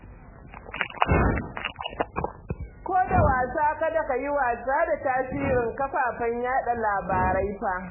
Ko da wasa kada ka yi wasa da tasirin kafafen yaɗa labarai fa